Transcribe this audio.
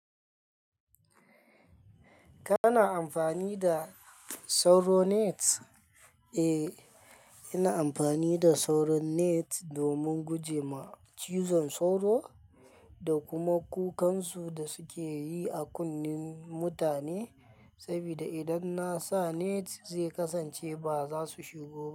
Kana amfani da sauro net? Eh, ina amfani da sauro net domin guje ma cizon sauro da kuma kukansu da suke yi a kunnen mutane. Saboda idan na sa net zai kasance ba za su shigo ba.